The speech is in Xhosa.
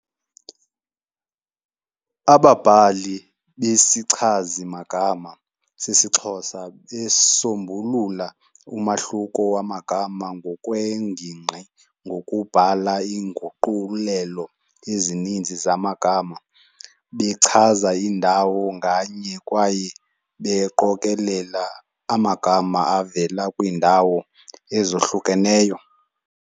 Ababhali besichazimagama sesiXhosa besisombulula umahluko wamagama ngokweengingqi ngokubhala iinguqulelo ezininzi zamagama bechaza iindawo nganye kwaye beqokolela amagama avela kwiindawo ezohlukeneyo.